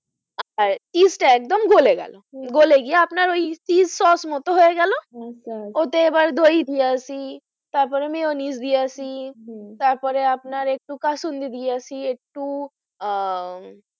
আর yeast একদম গলে গেল ও গলে গিয়ে আপনার ওই চীজ সস মতো হয়ে গেলো আচ্ছা আচ্ছা ওতে এবার দই দিয়েছি তারপরে মিয়োনিস দিয়াছি হম তারপরে আপনার একটু কাসুন্দি দিয়াছি একটু আহ